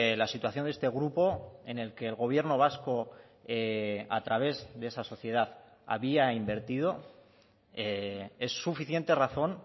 la situación de este grupo en el que el gobierno vasco a través de esa sociedad había invertido es suficiente razón